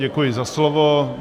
Děkuji za slovo.